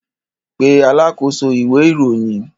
Pe alákòóso ìwé-ìròyìn!